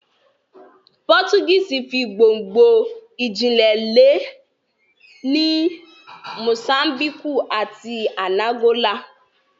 Pọ́tugíìsì fi gbongno ìjìnlẹ̀ lẹ̀ ní Mosámbíkù àti Ànàgólà